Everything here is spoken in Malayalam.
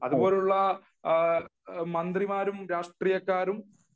ഇതുപോലുള്ള മന്ത്രിമാരും രാഷ്ട്രീയക്കാരും